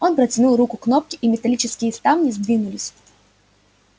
он протянул руку к кнопке и металлические ставни сдвинулись